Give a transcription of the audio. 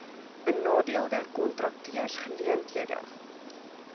benadeelde kontrakteurs geleenthede